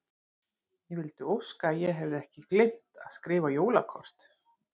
Ég vildi óska að ég hefði ekki gleymt að skrifa jólakort.